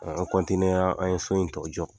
An an ye so in tɔw jɔ